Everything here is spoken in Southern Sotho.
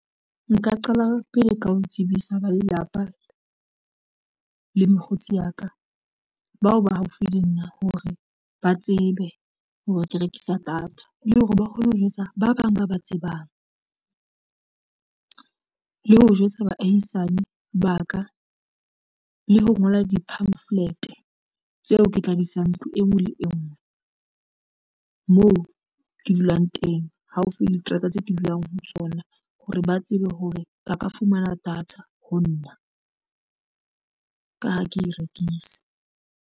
Nka qala pele ka ho tsebisa ba lelapa le mokgotsi ya ka. Bao ba haufi le nna hore ba tsebe hore ke rekisa data le hore ba kgone ho jwetsa ba bang ba ba tsebang le ho jwetsa baahisane ba ka le ho ngola di-pamphlet tseo ke tla di isang ntlo enngwe le enngwe moo oo ke dulang teng haufi diterata tse ke dulang ho tsona hore ba tsebe hore ba ka fumana data ho nna ka ha ke rekisa.